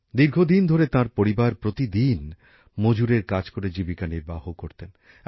দীর্ঘদিন ধরে তাঁর পরিবার প্রতিদিন মজুরের কাজ করে জীবিকা নির্বাহ করতেন